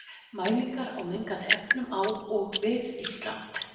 Mælingar á mengandi efnum á og við Ísland.